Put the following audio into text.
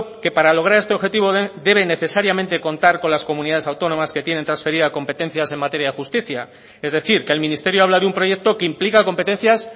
que para lograr este objetivo debe necesariamente contar con las comunidades autónomas que tienen transferida competencias en materia de justicia es decir que el ministerio habla de un proyecto que implica competencias